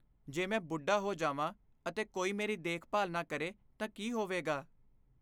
ਜੇ ਮੈਂ ਬੁੱਢਾ ਹੋ ਜਾਵਾਂ ਅਤੇ ਕੋਈ ਮੇਰੀ ਦੇਖਭਾਲ ਨਾ ਕਰੇ ਤਾਂ ਕੀ ਹੋਵੇਗਾ ?